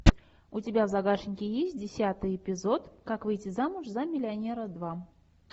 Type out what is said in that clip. у тебя в загашнике есть десятый эпизод как выйти замуж за миллионера два